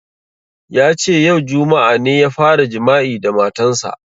Yace yau, juma'a, ne ya fara jima'i da matan sa